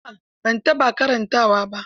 A'a ban taɓa karantawa ba.